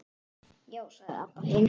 Já, sagði Abba hin.